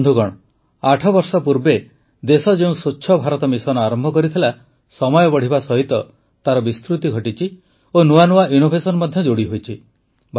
ବନ୍ଧୁଗଣ ଆଠବର୍ଷ ପୂର୍ବେ ଦେଶ ଯେଉଁ ସ୍ୱଚ୍ଛ ଭାରତ ମିଶନ ଆରମ୍ଭ କରିଥିଲା ସମୟ ବଢ଼ିବା ସହିତ ତାର ବିସ୍ତୃତି ଘଟିଛି ଓ ନୂଆ ନୂଆ ଇନ୍ନୋଭେସନ ମଧ୍ୟ ଯୋଡ଼ି ହୋଇଛି